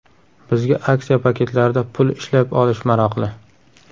Bizga aksiya paketlarida pul ishlab olish maroqli.